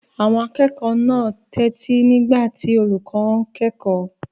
Àwọn akẹ́kọ̀ọ́ náà tẹ́tí nígbà tí olùkọ́ wọn kẹ́kọ̀ọ́.